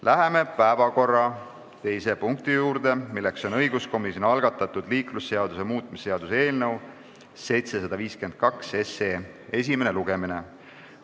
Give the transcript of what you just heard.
Läheme päevakorra teise punkti juurde, milleks on õiguskomisjoni algatatud liiklusseaduse muutmise seaduse eelnõu 752 esimene lugemine.